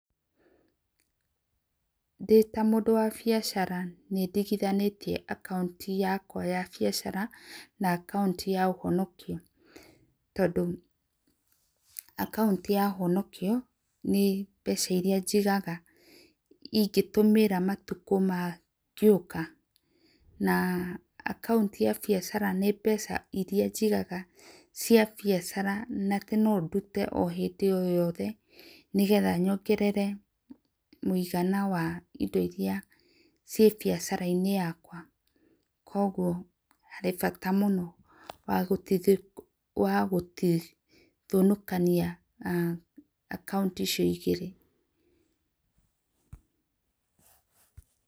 Ndĩ ta mũndũ wa bĩacara nĩ ndĩgĩthanĩtĩe akauntĩ yakwa ya biacara na akaũntĩ ya ũhonokio tondũ akaũntĩ ya ũhonokĩo to nĩ mbeca iria njĩgaga ĩngĩtũmĩra matũkũ mangĩũka, na akaũntĩ ya biacara nĩ mbeca ĩrĩa njĩgaga cia biacara na atĩ nũ ndũte o hĩndĩ o yothe nĩ getha nyongerere mũĩgana wa ĩndo ĩrĩa cĩe bĩacara inĩ yakwa kwogwo harĩ bata mũno wa gũtĩgĩthũkanĩa akaunti icio nĩ ĩgĩrĩ.